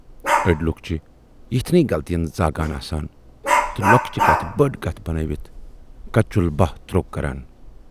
ٲڈۍ لوٗکھ چھِ یِتھنٕے غلطین زاگان آسان تہٕ لۅکچہِ کتھِ بٔڈ کتھ بنٲوِتھ کچُل باہہ تروک کران۔